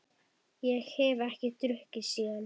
Ég hef ekki drukkið síðan.